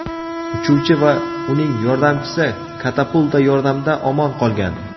Uchuvchi va uning yordamchisi katapulta yordamida omon qolgan.